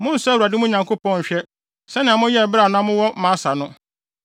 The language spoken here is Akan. Monnsɔ Awurade, mo Nyankopɔn, nhwɛ sɛnea moyɛe bere a na mowɔ Masa no.